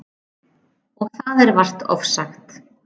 Og það er vart ofsagt.